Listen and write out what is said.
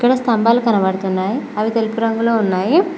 స్తంభాలు కనబడుతున్నాయి అవి తెలుపు రంగులో ఉన్నాయి.